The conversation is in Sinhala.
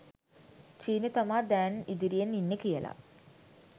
චීනෙ තමා දෑන් ඉදිරියෙන් ඉන්නෙ කියල.